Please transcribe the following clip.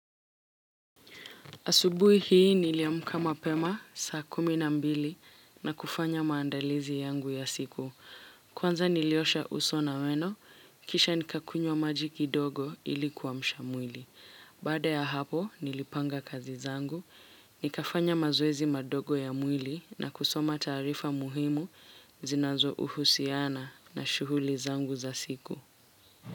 Asubuhi hii niliamka mapema saa kumi na mbili na kufanya maandalizi yangu ya siku. Kwanza niliosha uso na meno, kisha nikakunywa maji kidogo ili kuamsha mwili. Baada ya hapo nilipanga kazi zangu, nikafanya mazoezi madogo ya mwili na kusoma taarifa muhimu zinazohusiana na shughuli zangu za siku.